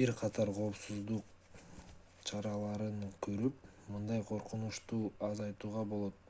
бир катар коопсуздук чараларын көрүп мындай коркунучту азайтууга болот